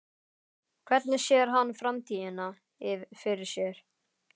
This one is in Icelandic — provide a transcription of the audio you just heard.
Hvernig sér hann framtíðina fyrir sér?